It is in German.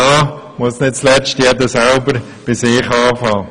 Nicht zuletzt muss dazu jeder bei sich selbst beginnen.